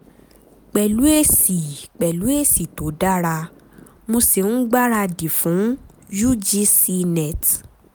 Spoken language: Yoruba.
pẹ̀lú èsì pẹ̀lú èsì tó dára mo sì ń gbára dì fún ugc net